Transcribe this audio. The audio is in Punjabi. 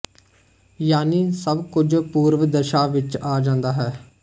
ਯਾਨੀ ਸਭ ਕੁੱਝ ਪੂਰਵ ਦਸ਼ਾ ਵਿੱਚ ਆ ਜਾਂਦਾ ਹੈ